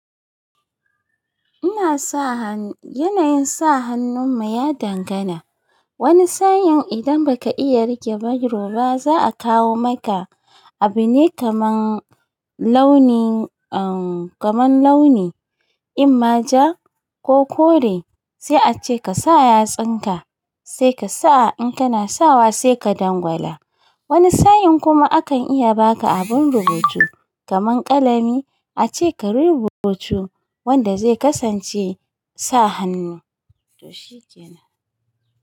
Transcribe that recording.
Ina sa hannu. Yanayin sa hannun mu ya dangana. Wani sa'in idan baka iya riƙe bairo ba, za a kawo maka abune kaman launi, uhm kaman launi, in ma ja ko kore sai a ce kasa yatsinka sai kasa. In kana sawa sai ka dangwala. Wani sa'in kuma akan iya baka abin rubutu kaman ƙalami a ce kayi rubuta wanda zai kasance sa hannu. To shi kenan.